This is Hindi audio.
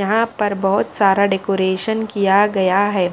यहाँ पर बहोत सारा डेकोरेशन किया गया है